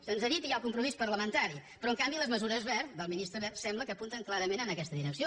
se’ns ha dit i hi ha el compromís parlamentari però en canvi les mesures wert del ministre wert sembla que apunten clarament en aquesta direcció